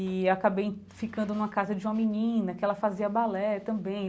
E acabei ficando numa casa de uma menina, que ela fazia balé também.